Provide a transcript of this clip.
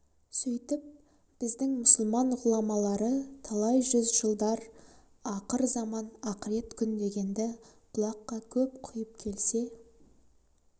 сөйтіп біздің мұсылман ғұламалары талай жүз жылдар ақыр заман ақырет күн дегенді құлаққа көп құйып келсе